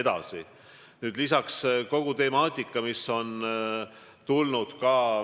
Lisaks oleme tegelenud kogu temaatikaga, mis on tekkinud.